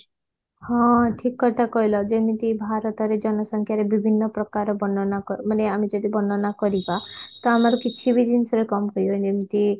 ହଁ ଠିକ କଥା କହିଲ ଯେମିତି ଭାରତରେ ଜନସଂଖ୍ୟାରେ ବିଭିନ୍ନ ପ୍ରକାର ବର୍ଣନା କ ମାନେ ଆମେ ଯଦି ବର୍ଣନା କରିବା ତ ଆମର କିଛି ବି ଜିନିଷ ରେ କଣ କହିବ ଯେମିତି